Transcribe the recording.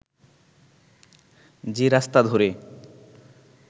যে রাস্তা ধরে